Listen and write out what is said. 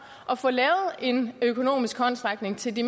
at få lavet en økonomisk håndsrækning til de